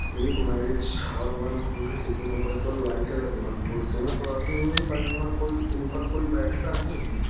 एक marriage hall बनवाउंगा जिसमें ऊपर की ओर लाइटें लगीं हैं और कुर्सियां तो रखी हुइ हैं पर इनमर कोइ इनपर कोइ बैठता नहीं है।